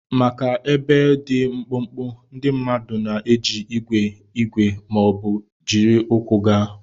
Maka ebe dị mkpụmkpụ, ndị mmadụ na-eji igwe igwe ma ọ bụ jiri ụkwụ gaa.